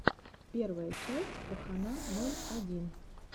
первая часть пахана ноль один